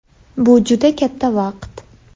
Bu juda katta vaqt.